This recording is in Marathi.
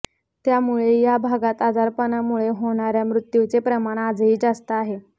त्यामुळे या भागात आजारामुळे होणाऱया मृत्यूचे प्रमाण आजही जास्त आहे